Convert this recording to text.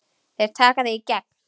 Þeir taka þig í gegn!